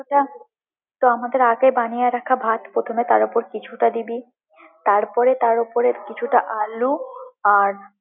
কিছুটা বানিয়ে রাখা ভাত প্রথমে কিছুটা দিবি, তার পরে তার উপরে কিছুটা আলু আর।